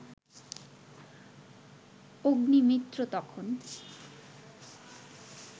অগ্নিমিত্র তখন